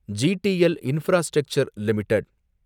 GTL infrastructure limited